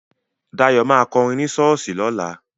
Dayọ̀ ma kọrin ní ṣọ́ọ̀ṣì lọ́la